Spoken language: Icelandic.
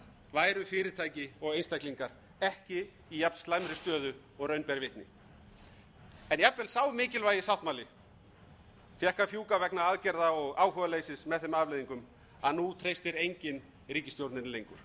væru fyrirtæki og einstaklingar ekki í jafnslæmri stöðu og raun ber vitni en jafnvel sá mikilvægi sáttmáli fékk að fjúka vegna aðgerða og áhugaleysis með þeim afleiðingum að nú treystir enginn ríkisstjórninni lengur